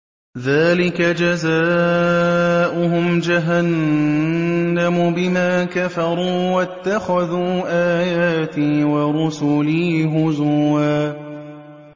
ذَٰلِكَ جَزَاؤُهُمْ جَهَنَّمُ بِمَا كَفَرُوا وَاتَّخَذُوا آيَاتِي وَرُسُلِي هُزُوًا